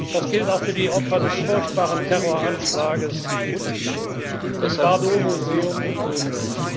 Das gilt auch für die Opfer des furchtbaren Terroranschlags im Bardo Museum in Tunis.